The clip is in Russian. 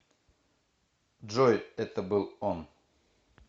джой это был он